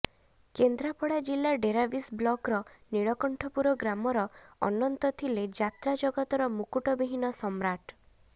କେନ୍ଦ୍ରାପଡା ଜିଲ୍ଲା ଡେରାବିଶ ବ୍ଲକର ନୀଳକଣ୍ଠପୁର ଗ୍ରାମର ଅନନ୍ତ ଥିଲେ ଯାତ୍ରା ଜଗତର ମୁକୁଟ ବିହୀନ ସମ୍ରାଟ